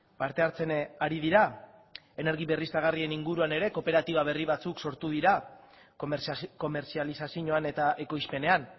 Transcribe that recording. parte hartzen ari dira energia berriztagarrien inguruan ere kooperatiba berri batzuk sortu dira komertzializazioan eta ekoizpenean